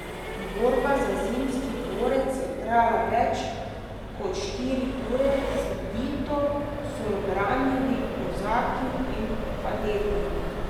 Borba za Zimski dvorec je trajala več kot štiri ure, srdito so jo branili kozaki in kadeti.